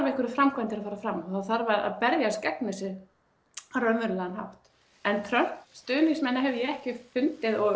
einhverjar framkvæmdir að fara fram og það þarf að berjast gegn þessu á raunverulegan hátt en Trump stuðningsmenn hef ég ekki fundið og